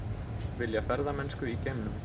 Vilja ferðamennsku í geimnum